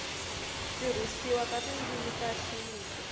tirhisiwa ka tindzimi ta xintu